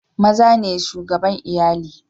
Maza ne shugabane Iyalli.